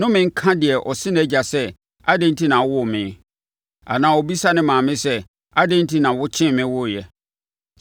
Nnome nka deɛ ɔse nʼagya sɛ ‘Adɛn enti na wowoo me?’ Anaa ɔbisa ne maame sɛ, ‘Adɛn enti na wokyem me woeɛ?’